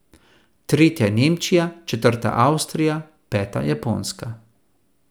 Tretja je Nemčija, četrta Avstrija, peta Japonska.